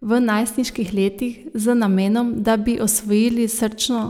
V najstniških letih z namenom, da bi osvojili srčno